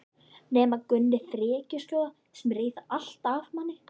Nema Gummi frekjuskjóða sem reif allt af manni.